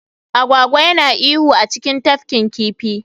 Agwagwa yana iyo a cikin tafkin kifi